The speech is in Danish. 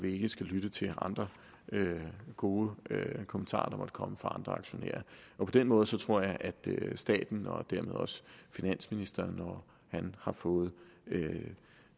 ikke skal lytte til andre gode kommentarer der måtte komme fra andre aktionærer på den måde tror jeg at staten og dermed også finansministeren når han har fået